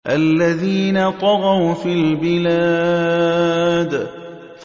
الَّذِينَ طَغَوْا فِي الْبِلَادِ